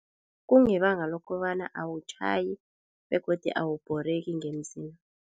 Kungebanga lokobana awutjhayi begodu awubhoreki ngemzini.